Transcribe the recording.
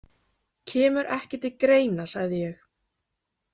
Kemur ekki til greina, sagði ég.